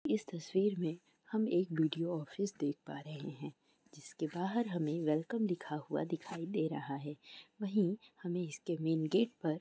इस तस्वीर में हम एक बी.डी.यो. ऑफिस देख पा रहे हैं जिसके बाहर हमें वेलकम लिखा हुआ दिखाई दे रहा है वही हमें इसके मैन गेट पर--